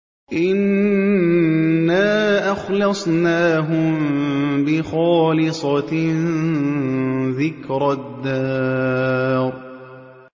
إِنَّا أَخْلَصْنَاهُم بِخَالِصَةٍ ذِكْرَى الدَّارِ